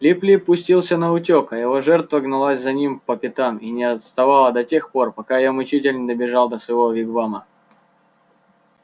лип лип пустился наутёк а его жертва гналась за ним по пятам и не отстала до тех пор пока её мучитель не добежал до своего вигвама